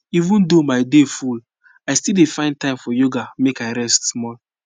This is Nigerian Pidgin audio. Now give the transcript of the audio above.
even though my day full i still dey find time for yoga make i rest small